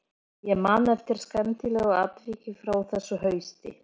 Ég man eftir skemmtilegu atviki frá þessu hausti.